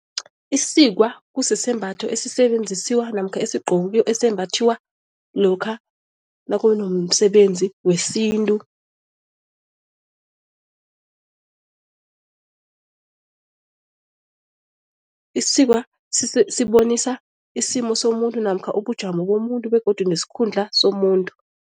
Isikwa kusisembatho esisebenziswa namkha esembathiwa lokha nakunomsebenzi wesintu. Isikwa sibonisa isimo somuntu namkha ubujamo bomuntu begodu nesikhundla somuntu.